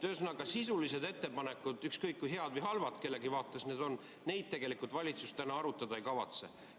Ühesõnaga, sisulisi ettepanekuid, ükskõik kui head või halvad need kellegi vaates on, valitsus täna arutada ei kavatse.